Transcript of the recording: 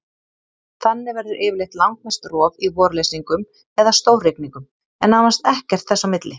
Þannig verður yfirleitt langmest rof í vorleysingum eða stórrigningum, en nánast ekkert þess á milli.